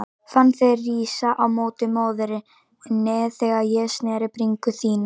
Fann þig rísa á móti móðurinni þegar ég snerti bringu þína.